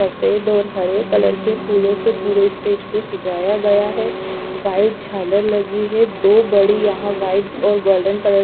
सफेद और हरे कलर के फूलों से पूरे स्टेज को सजाया गया है व्हाइट झालर लगी है दो बड़ी यहां व्हाइट और गोल्डन कलर --